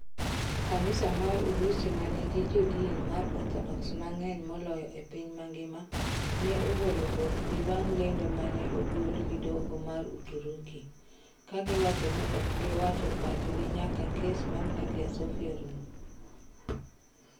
Kanisa mar Urusi manigi jo din mar Orthodox mang'eny moyolo e piny ngima ne ogolo bwokgi bang lendo mane ogol gi doho mar Uturuki. kagiwacho ni ok giwacho pachgi nyaka kes mar Hagia Sophia rum.